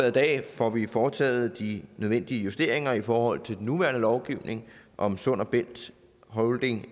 i dag får vi foretaget de nødvendige justeringer i forhold til den nuværende lovgivning om sund bælt holding